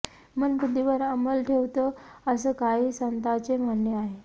मन बुद्धीवर अंमल ठेवतं असं काही संतांचे म्हणणे आहे